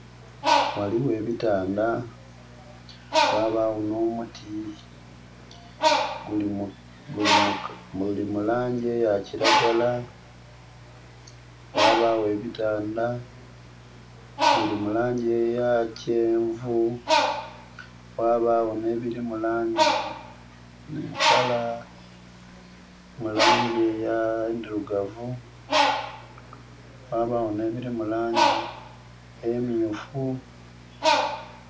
Waliwo ebitanda, wabawo nomuti, guli mulangi eya kiragala. Wabawo ebitanda biri mu langi eya kyenvu, wabawo nebiri mulangi endirugavu wabawo nebiri mulangi emyufu